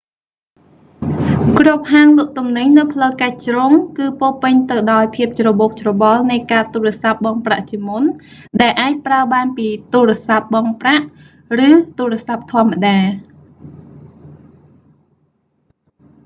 គ្រប់ហាងលក់ទំនិញនៅផ្លូវកាច់ជ្រុង គឺពោរពេញទៅដោយភាពច្របូកច្របល់នៃកាតទូរស័ព្ទបង់ប្រាក់ជាមុន ដែលអាចប្រើបានពីទូរស័ព្ទបង់ប្រាក់ ឬទូរស័ព្ទធម្មតា